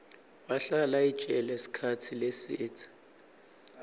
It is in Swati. wahlala ejele sikhatsi lesidze